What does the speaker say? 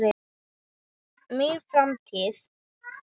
Mín framtíð?